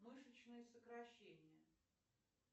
мышечные сокращения